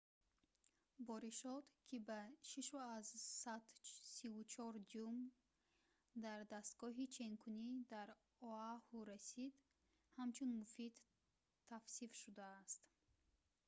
боришот ки ба 6,34 дюйм дар дастгоҳи ченкунӣ дар оаҳу расид ҳамчун муфид тавсиф шудааст